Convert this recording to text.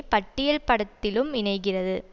பட்டியல் படத்திலும் இணைகிறது